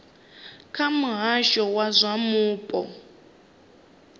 kha muhasho wa zwa mupo